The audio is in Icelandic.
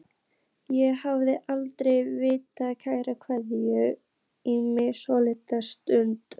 Ég hef aldrei viljað klæða mig í svona dress.